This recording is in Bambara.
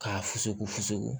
K'a fusugu fusugu